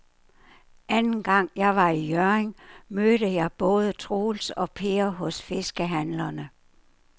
Anden gang jeg var i Hjørring, mødte jeg både Troels og Per hos fiskehandlerne.